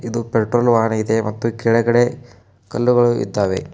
ಒಂದು petrol van ಇದೆ ಮತ್ತು ಕೆಳಗಡೆ ಕಲ್ಲುಗಳು ಇದ್ದಾವೆ.